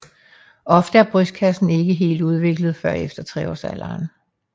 Ofte er brystkassen ikke helt udviklet før efter treårsalderen